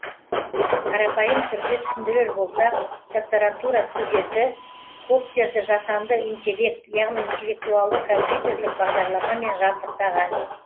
қарапайым түрде түсіндірер болсақ докторантура студенті коптерді жасанды интеллект яғни интеллектуалды компьютерлік бағдарламамен жабдықтаған